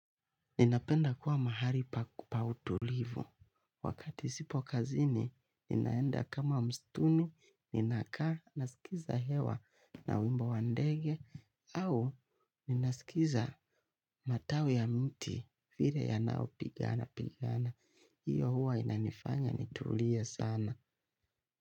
Ninapenda kuwa mahali pa utulivu. Wakati sipo kazini, ninaenda kama msituni, ninakaa, nasikiza hewa na wimbo wa ndege, au ninasikiza matawi ya miti vile yanavyopigana pigana. Hiyo huwa inanifanya nitulie sana.